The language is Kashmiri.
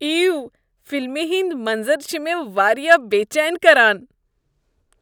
ایو! فلمہ ہٕنٛدۍ منظر چھ مےٚ واریاہ بے چین كران۔